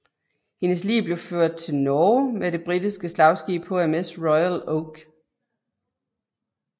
Hendes lig blev ført til Norge med det britiske slagskib HMS Royal Oak